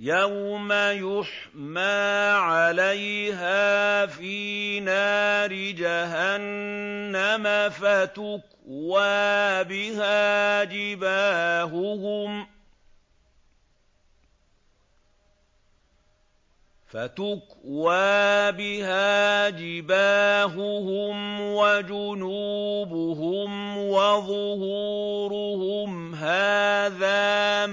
يَوْمَ يُحْمَىٰ عَلَيْهَا فِي نَارِ جَهَنَّمَ فَتُكْوَىٰ بِهَا جِبَاهُهُمْ وَجُنُوبُهُمْ وَظُهُورُهُمْ ۖ هَٰذَا